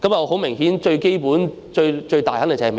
很明顯，最基本、最想這樣做的是美國。